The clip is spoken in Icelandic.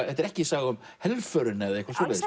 þetta er ekki saga um helförina eða eitthvað svoleiðis